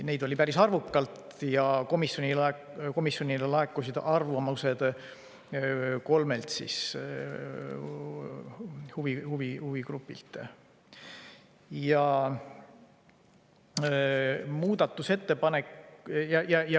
Neid oli päris arvukalt ja komisjonile laekusid arvamused kolmelt huvigrupilt.